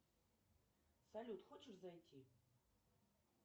салют хочешь зайти